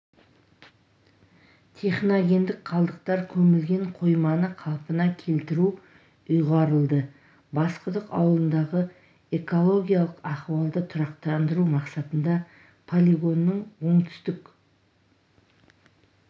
техногендік қалдықтар көмілген қойманы қалпына келтіру ұйғарылды басқұдық ауылындағы экологиялық ахуалды тұрақтандыру мақсатында полигонның оңтүстік